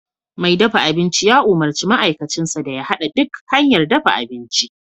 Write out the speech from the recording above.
Mai dafa abinci ya umurci ma'aikacinsa da ya hada duk hanyar dafa abinci